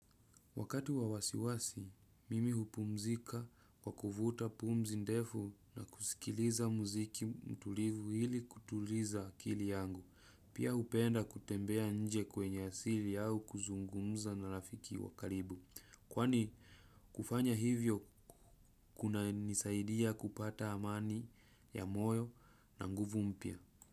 Wakati wa wasiwasi, mimi hupumzika kwa kuvuta pumzi ndefu na kusikiliza muziki mtulivu ili kutuliza akili yangu. Pia hupenda kutembea nje kwenye asili au kuzungumza na rafiki wa karibu. Kwani kufanya hivyo kunanisaidia kupata amani ya moyo na nguvu mpya.